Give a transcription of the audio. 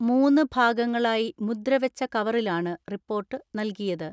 മൂന്ന് ഭാഗങ്ങ ളായി മുദ്ര വെച്ച കവറിലാണ് റിപ്പോർട്ട് നൽകിയത്.